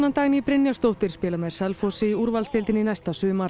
Dagný Brynjarsdóttir spilar með Selfossi í úrvalsdeildinni næsta sumar